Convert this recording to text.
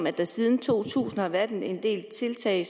at der siden to tusind har været en del tiltag